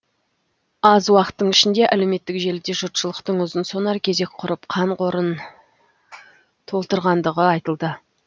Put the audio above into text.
аз уақыттың ішінде әлеуметтік желіде жұртшылықтың ұзын сонар кезек құрып қан қорын толтырғандығы айтылды